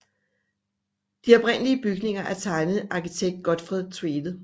De oprindelige bygninger er tegnet af arkitekt Gotfred Tvede